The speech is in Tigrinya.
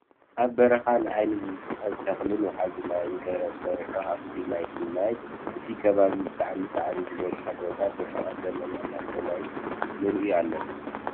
ኣብ በረካ ንዓይኒ ዝስሕብ ተክልን ወሓዚ ማይ ገረብ ሰሪሑ ሃፋ ናይቲ ማይን እቲ ከባቢ ብጣዕሚ ሳዕሪ ዝበዝሖ ቦታ ብርሕቀት ደመና ናይ ሰማይ ንርኢ ኣለና።